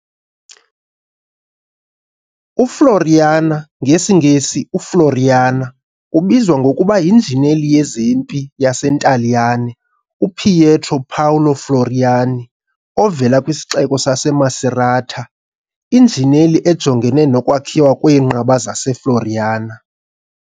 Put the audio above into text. UFloriana, ngesiNgesi "uFloriana", ubizwa ngokuba yinjineli yezempi yaseNtaliyane uPietro Paolo Floriani, ovela kwisixeko saseMacerata, injineli ejongene nokwakhiwa kweenqaba zaseFloriana.